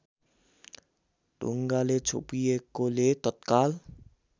ढुङ्गाले छोपिएकोले तत्काल